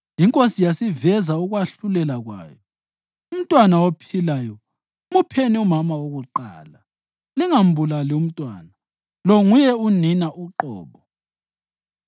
Inkosi yasiveza ukwahlulela kwayo: “Umntwana ophilayo mupheni umama wakuqala. Lingambulali umntwana, lo nguye unina uqobo.”